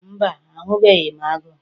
Mba, ahụbeghị m agụ